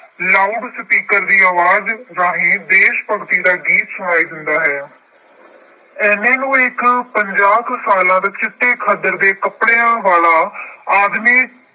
loud speaker ਦੀ ਆਵਾਜ ਰਾਹੀਂ ਦੇਸ਼ ਭਗਤੀ ਦਾ ਗੀਤ ਸੁਣਾਈ ਦਿੰਦਾ ਹੈ। ਇੰਨੇ ਨੂੰ ਇੱਕ ਪੰਜਾਹ ਕੁ ਸਾਲਾ ਦਾ ਚਿੱਟੇ ਖੱਦਰ ਦੇ ਕੱਪੜਿਆਂ ਵਾਲਾ ਆਦਮੀ